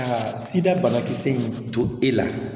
Ka sida banakisɛ in to e la